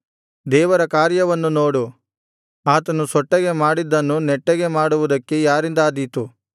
ದೇವರ ಕಾರ್ಯವನ್ನು ನೋಡು ಆತನು ಸೊಟ್ಟಗೆ ಮಾಡಿದ್ದನ್ನು ನೆಟ್ಟಗೆ ಮಾಡುವುದಕ್ಕೆ ಯಾರಿಂದಾದೀತು